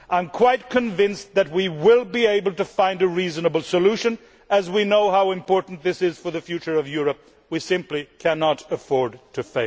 I am quite convinced that we will be able to find a reasonable solution as we know how important this is for the future of Europe. We simply cannot afford to